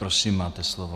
Prosím, máte slovo.